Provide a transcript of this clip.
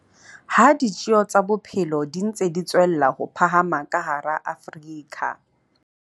Ha ditjeo tsa bophelo di ntse di tswella ho phahama ka hara Afrika